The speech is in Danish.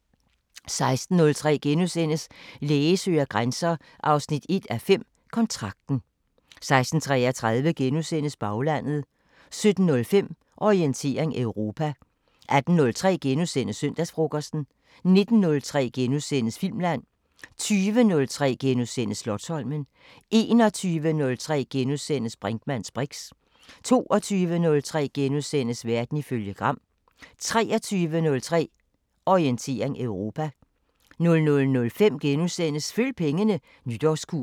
16:03: Læge søger grænser 1:5 – Kontrakten * 16:33: Baglandet * 17:05: Orientering Europa 18:03: Søndagsfrokosten * 19:03: Filmland * 20:03: Slotsholmen * 21:03: Brinkmanns briks * 22:03: Verden ifølge Gram * 23:03: Orientering Europa 00:05: Følg pengene: Nytårskur *